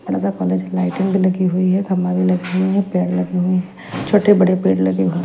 Lighting भी लगी हुई है कमाल भी लगे हुए हैं पैड लगे हुए हैं छोटे बड़े पैड लगे हुए हैं।